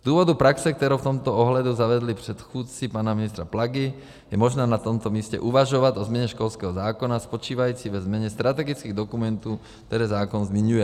Z důvodu praxe, kterou v tomto ohledu zavedli předchůdci pana ministra Plagy, je možná na tomto místě uvažovat o změně školského zákona spočívající ve změně strategických dokumentů, které zákon zmiňuje.